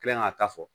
Kilan k'a ta fɔ